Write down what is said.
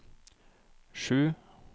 sju